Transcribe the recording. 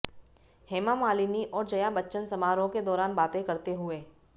हेमामालिनी और जया बच्चन समारोह के दौरान बातें करते हुए